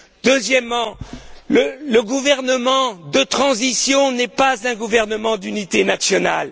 Deuxièmement, le gouvernement de transition n'est pas un gouvernement d'unité nationale.